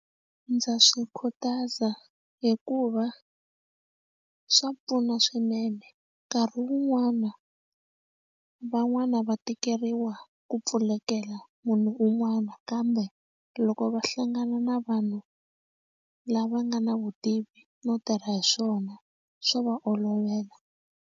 Ndza swi khutaza hikuva swa pfuna swinene nkarhi wun'wana van'wani va tikeriwa ku pfulekela munhu un'wana kambe loko va hlangana na vanhu lava nga na vutivi no tirha hi swona swo va olovela.